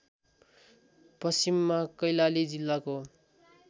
पश्चिममा कैलाली जिल्लाको